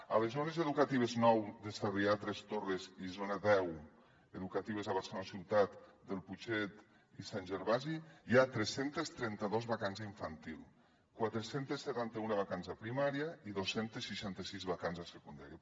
a les zones educatives nou de sarrià tres torres i zona deu educatives a barcelona ciutat del putxet i sant gervasi hi ha tres cents i trenta dos vacants d’infantil quatre cents i setanta un vacants a primària i dos cents i seixanta sis vacants a secundària